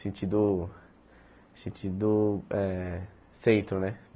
Sentido... Sentido eh... Centro, né?